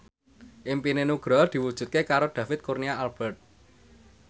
impine Nugroho diwujudke karo David Kurnia Albert